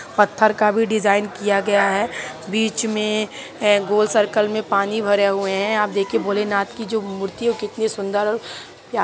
पथर का भी डिजाइन किया गया है बीच मैं गोल सर्कल मैं पानी भरा हुआ है आप देखिए भोले नाथ की जो मूर्ति है वो कितनी सुन्दर है।